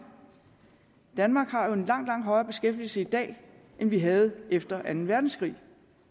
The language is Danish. danmark har jo en langt langt højere beskæftigelse i dag end vi havde efter anden verdenskrig